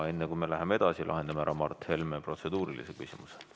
Enne kui me läheme edasi, lahendame ära Mart Helme protseduurilise küsimuse.